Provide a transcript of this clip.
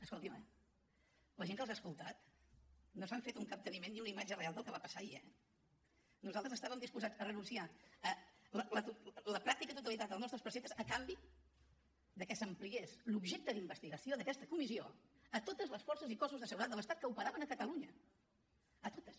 escoltin me la gent que els ha escoltat no s’han fet un capteniment ni una imatge real del que va passar ahir eh nosaltres estàvem disposats a renunciar a la pràctica totalitat dels nostres preceptes a canvi de que s’ampliés l’objecte d’investigació d’aquesta comissió a totes les forces i cossos de seguretat de l’estat que operaven a catalunya a totes